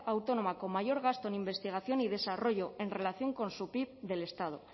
autónoma con mayor gasto en investigación y desarrollo en relación con su pib del estado